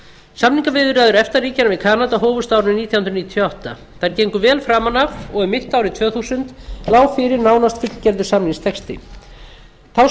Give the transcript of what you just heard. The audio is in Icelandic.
samningaviðræður efta ríkjanna við kanada hófust á árinu nítján hundruð níutíu og átta þær gengu vel framan af og um mitt árið tvö þúsund lá fyrir nánast fullgerður samningstexti þá